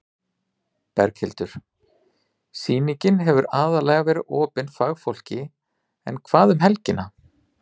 Berghildur: Sýningin hefur aðallega verið opin fagfólki en hvað um helgina?